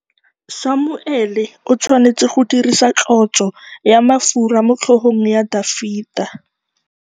Samuele o tshwanetse go dirisa tlotsô ya mafura motlhôgong ya Dafita.